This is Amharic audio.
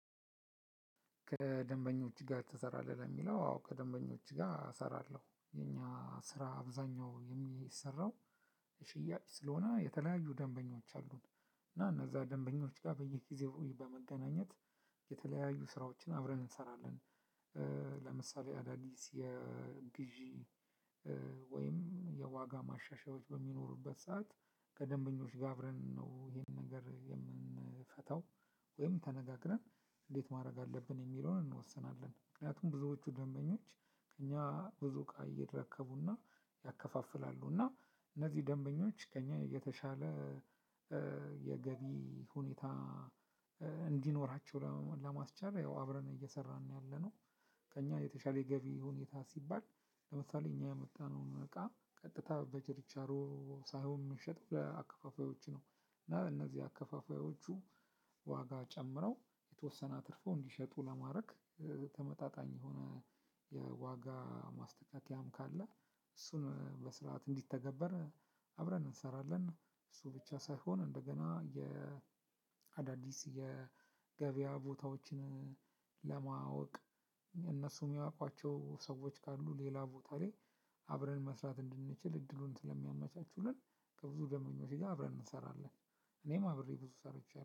ከደንበኞች ጋር ትሰራለህ? ለሚለው አዎ ከደንበኞች ጋር እሰራለሁ የኛ ስራ አብዛኛው የሚሰራው ሽያጭ ስለሆነ የተለያዩ ደንበኞች አሉ እና እነዛ ደንበኞች ጋር በየጊዜው በመገናኘት የተለያዩ ስራዎችን አብረን እንሰራለን። ለምሳሌ አዳዲስ የግዢ ወይም የዋጋ ማሻሻያዎች በሚኖሩበት ሰዓት ከደንበኞች ጋር አብረን ነው ይሄንን ነገር የምንፈታው። ወይም ተነጋግረን እንዴት ማድረግ አለብን የሚለውን እንወስናለን። ምክንያቱም ብዙዎቹ ደንበኞች ከእኛ ብዙ እቃ ይረከቡና ያከፋፍላሉ እና እነዚህ ደንበኞች ከእኛ የተሻለ የገቢ ሁኔታ እንዲኖራቸው ለማስቻል ያው አብረን እየሰራን ነው ያለነው። ከእኛ የተሻለ ገቢ ሁኔታ ሲባል ለምሳሌ እኛ ያመጣነውን እቃ ቀጥታ በችርቻሮ ሳይሆን የምንሸጥ ለአካፋፋዮች ነው። እና እነዚህ አከፋፋዮቹ ዋጋ ጨምረው የተወሰነ አትርፈው እንዲሸጡ ለማድረግ ተመጣጣኝ የሆነ የዋጋ ማስተካከያም ካለ እሱን በስርዓት እንዲተገበር አብረን እንሰራለን። እሱ ብቻ ሳይሆን እንደገና የአዳዲስ የገበያ ቦታዎችን ለማወቅ እነሱ የሚያውቋቸው ሰዎች ካሉ ሌላ ቦታ ላይ አብረን መስራት እንድንችል እድሉን ስለሚያመቻቹልን ከብዙ ደምበኞች ጋር አብረን እንሰራለን። እኔም አብሬ ብዙ ሰርቼአለው